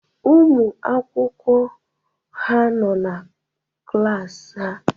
Ụmụ akwụkwọ ha nọ n'klas ha